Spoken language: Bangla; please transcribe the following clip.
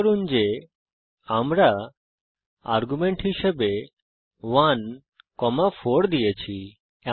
নোট করুন যে আমরা আর্গুমেন্ট হিসাবে 1 4 দিয়েছি